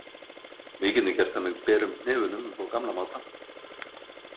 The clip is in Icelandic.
Við getum gert það með berum hnefunum upp á gamla mátann.